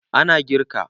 A na girka